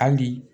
Hali bi